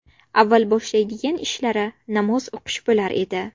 Avval boshlaydigan ishlari namoz o‘qish bo‘lar edi.